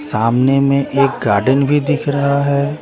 सामने में एक गार्डन भी दिख रहा हैं ।